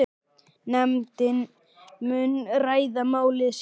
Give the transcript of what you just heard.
Nefndin muni ræða málið síðar.